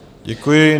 Děkuji.